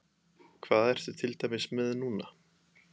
Hvað ertu til dæmis með núna?